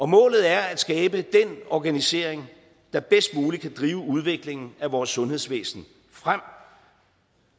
målet er at skabe den organisering der bedst muligt kan drive udviklingen af vores sundhedsvæsen frem